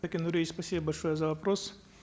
сакен нуриевич спасибо большое за вопрос